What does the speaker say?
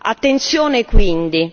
Attenzione quindi!